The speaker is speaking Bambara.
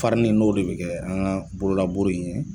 Parili n'o de bɛ kɛ an ka bolola buru ye.